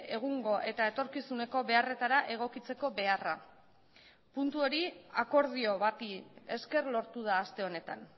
egungo eta etorkizuneko beharretara egokitzeko beharra puntu hori akordio bati esker lortu da aste honetan